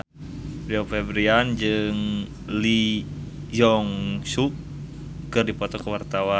Rio Febrian jeung Lee Jeong Suk keur dipoto ku wartawan